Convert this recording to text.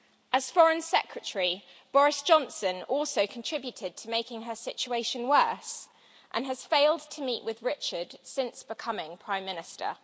As Foreign Secretary, Boris Johnson also contributed to making her situation worse and has failed to meet with Richard since becoming Prime Minister.